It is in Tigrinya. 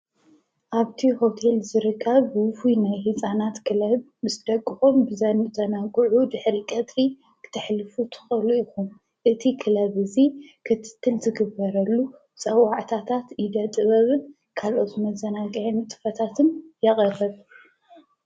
ኣብቲ ሆቴል ዝርከቡ ፉሉይ ናይ ህፃናት ክለብ ምስ ደቅኩም ዘዘናግዑ ድሕሪ ቀትሪ ክተሕልፉ ትክእሉ ኢኩም እዚ ክለብ እዚ ክፍቲ ዝግበረሉ ፀዋዕታታ ኢደ ጥበብን መዘናግዒ ንጥፈታትን የቅርብ።